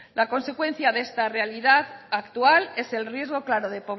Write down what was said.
la consecuencia de esta realidad actual es el riesgo claro de